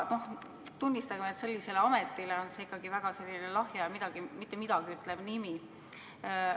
Tunnistagem, et sellisele ametile on see ikkagi väga lahja ja mittemidagiütlev nimi.